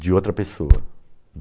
de outra pessoa.